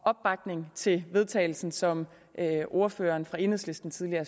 opbakning til vedtagelsen som ordføreren for enhedslisten tidligere